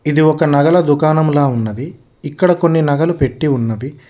ఇది ఒక నగలు దుకాణంలో ఉన్నది ఇక్కడ కొన్ని నగలు పెట్టి ఉన్నవి.